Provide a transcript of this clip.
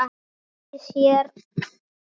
Hefði fengið sér aðra.